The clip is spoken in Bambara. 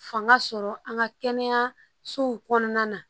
Fanga sɔrɔ an ka kɛnɛyasow kɔnɔna na